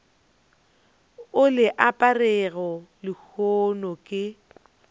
o le aperego lehono ke